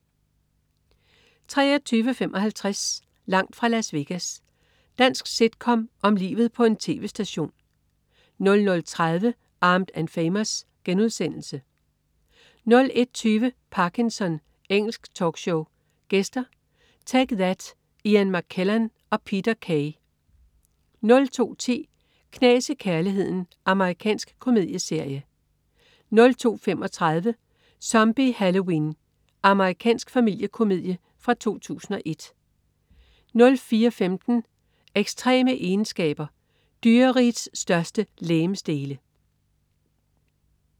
23.55 Langt fra Las Vegas. Dansk sitcom om livet på en tv-station 00.30 Armed & Famous* 01.20 Parkinson. Engelsk talkshow. Gæster: Take That, Ian McKellan og Peter Kay 02.10 Knas i kærligheden. Amerikansk komedieserie 02.35 Zombie Halloween. Amerikansk familiekomedie fra 2001 04.15 Ekstreme egenskaber. Dyrerigets største legemsdele